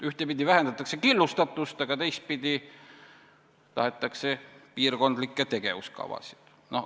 Ühtepidi vähendatakse killustatust, aga teistpidi tahetakse piirkondlikke tegevuskavasid.